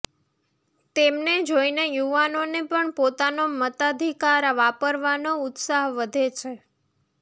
તેમને જોઇને યુવાનોને પણ પોતાનો મતાધિકાર વાપરવાનો ઉત્સાહ વધે છે